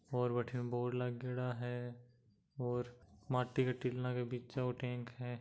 और बठीने बोर्ड लागेड़ा है और माटी के टीला के बिचा यो टेंक है।